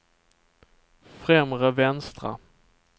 främre vänstra